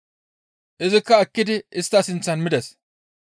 Izikka ekkidi istta sinththan mides.